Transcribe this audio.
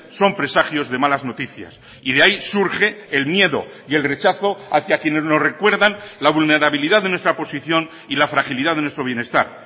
son presagios de malas noticias y de ahí surge el miedo y el rechazo hacia quienes nos recuerdan la vulnerabilidad de nuestra posición y la fragilidad de nuestro bienestar